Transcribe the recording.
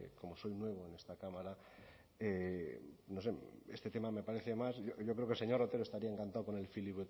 que como soy nuevo en esta cámara no sé este tema me parece más yo creo que el señor otero estaría encantado con el